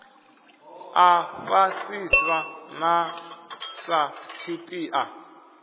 a fhasisa na sa tshipiḓa